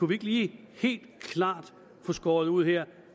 vi ikke lige helt klart få skåret ud her